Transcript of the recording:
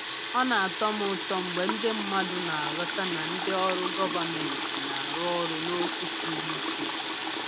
Ọ na-atọ m ụtọ mgbe ndị mmadụ na-aghọta na ndị ọrụ gọvanmentị na-arụ ọrụ n’okwu siri ike.